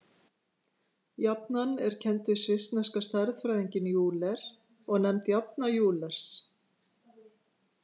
Jafnan er kennd við svissneska stærðfræðinginn Euler og nefnd jafna Eulers.